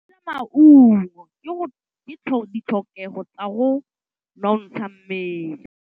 Go ja maungo ke ditlhokegô tsa go nontsha mmele.